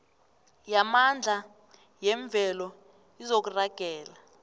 yamandla yemvelo izokuragela